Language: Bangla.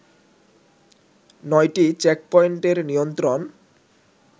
নয়টি চেকপয়েন্টের নিয়ন্ত্রণ